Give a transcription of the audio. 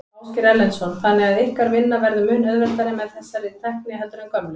Ásgeir Erlendsson: Þannig að ykkar vinna verður mun auðveldari með þessari tækni heldur en gömlu?